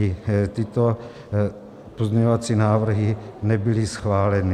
Ani tyto pozměňovací návrhy nebyly schváleny.